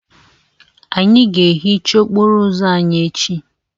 Anyị ga-ehicha okporo ụzọ anyị echi.